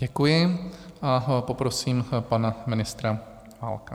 Děkuji a poprosím pana ministra Válka.